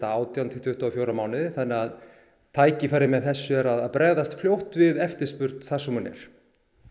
átján til tuttugu og fjóra mánuði þannig að tækifærið með þessu er að bregðast fljótt við eftirspurn þar sem hún er